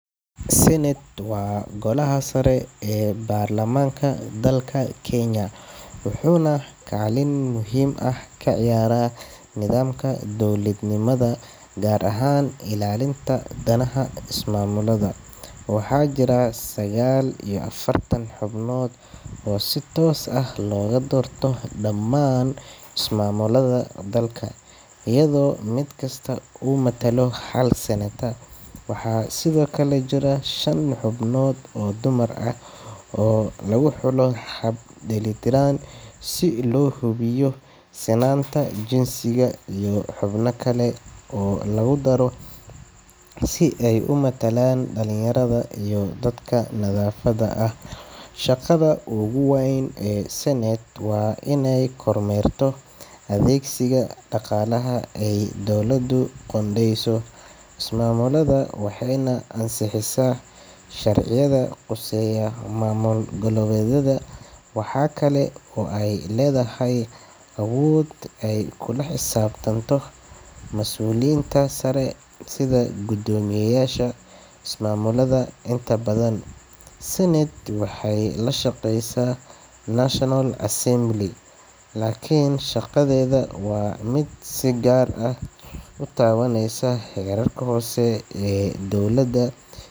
Senate waa golaha sare ee baarlamaanka dalka Kenya, wuxuuna kaalin muhiim ah ka ciyaaraa nidaamka dowladnimada gaar ahaan ilaalinta danaha ismaamullada. Waxaa jira sagaal iyo afartan xubnood oo si toos ah looga doorto dhamaan ismaamullada dalka, iyadoo mid kasta uu matalo hal senator. Waxaa sidoo kale jira shan xubnood oo dumar ah oo lagu xulo hab dheelitiran si loo hubiyo sinnaanta jinsiga, iyo xubno kale oo lagu daro si ay u matalaan dhalinyarada iyo dadka naafada ah. Shaqada ugu weyn ee Senate waa inay kormeerto adeegsiga dhaqaalaha ay dowladdu u qoondeyso ismaamullada, waxayna ansixisaa sharciyada khuseeya maamul-goboleedyada. Waxaa kale oo ay leedahay awood ay kula xisaabtanto mas’uuliyiinta sare sida guddoomiyeyaasha ismaamullada. Inta badan, Senate waxay la shaqeysaa National Assembly, laakiin shaqadeeda waa mid si gaar ah u taabanaysa heerarka hoose ee dowladda.